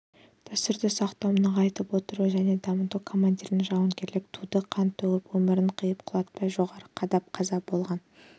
дәстүрді сақтау нығайтып отыру және дамыту командирдің жауынгерлік туды қан төгіп өмірін қиып құлатпай жоғары қадап қаза болған